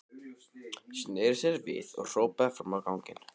Sneri sér svo við og hrópaði fram á ganginn.